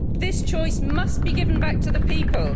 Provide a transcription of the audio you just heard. This choice must be given back to the people.